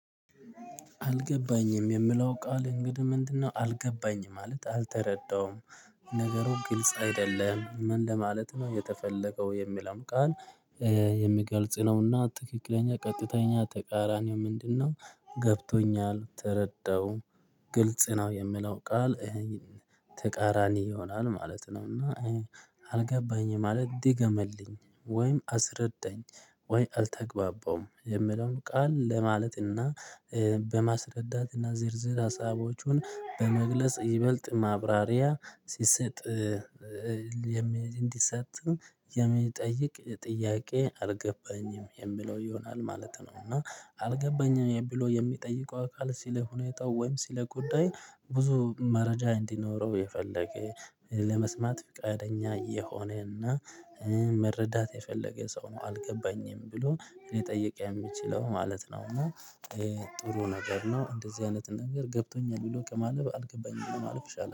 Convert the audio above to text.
አልገባኝም የምለው ቃል እንግዲህ ምንድነው? አልገባኝ ማለት አልተረዳሁም። ነገሩ ግልጽ አይደለም ምን ለማለት ነው የተፈለገው የሚልም ቃል። የሚገልጽ ነውና ትክክለኛ ቀጥተኛ ተቃራኒው ምንድነው? ገብቶኛል ተረዳው። ግልጽ ነው የምለው ቃል። ተቃራኒ ይሆናል ማለት ነው። እና አልገባኝም ማለት ድገምልኝ ወይም አስረዳኝ? ወይ አልተግባባውም የምለውም ቃል ለማለትና በማስረዳትና ዝርዝር ሀሳቦቹን በመግለጽ ይበልጥ ማብራሪያ ሲሰጥ። እንዲሰጥም የሚጠይቅ ጥያቄ አልገባኝም የሚለው ይሆናል ማለት ነው። እና አልገባኝም ብሎ የሚጠይቀው አካል ሲለ ሁኔታው ወይም ሲለ ጉዳይ ብዙ መረጃ እንዲኖረው የፈለገ ለመስማት ፈቃደኛ የሆነና መረዳት የፈለገ ሰው ነው። አልገባኝም ብሎ ሊጠይቅ የሚችለው ማለት ነው። ጥሩ ነገር ነው እንደዚህ አይነት ነገር ገብቶኛል ብሎ ከማለፍአልገባኝም ብሎ ማለፍ ኡይሻላል